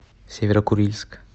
северо курильск